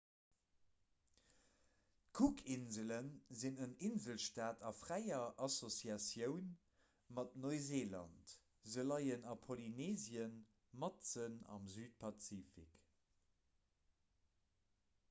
d'cookinsele sinn en inselstaat a fräier associatioun mat neuseeland se leien a polynesien matzen am südpazifik